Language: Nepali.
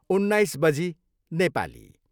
उन्नाइस बजी, नेपाली।